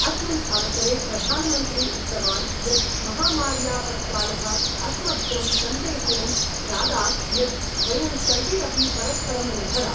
अस्मिन् अवसरे प्रधानमन्त्री उक्तवान् यत् महामार्यापत्कालः अस्मभ्यं संदेशें प्रादात् यत् वयं सर्वे अपि परस्परं निर्भरा।